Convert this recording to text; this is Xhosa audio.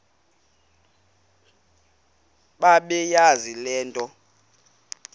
bebeyazi le nto